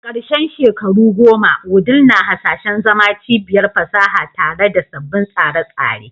A karshen shekaru goma, Wudil na hasashen zama cibiyar fasaha tare da sabbin tsare-tsare